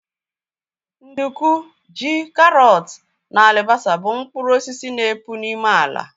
Nduku, ji, karọt na alibasa bụ mkpụrụ osisi na epụ n'ime ala